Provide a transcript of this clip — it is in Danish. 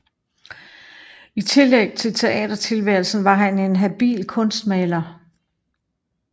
I tillæg til teatertilværelsen var han en habil kunstmaler